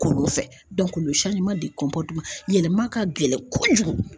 Kolon fɛ yɛlɛma ka gɛlɛn kojugu.